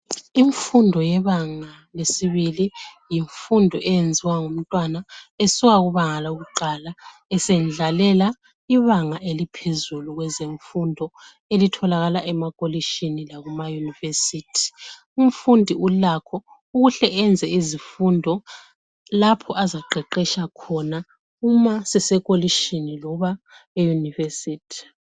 Imfundo yebanga lesibili yimfundo eyenziwa ngumntwana esuka kubanga lakuqala esendlalela ibanga eliphezulu kwezemfundo elitholakala emakolitshini lakumayunivesithi. Umfundi ulakho ukuhle enze izifundo lapho azaqeqetsha khona uma sesekolitshini loba eyunivesithi.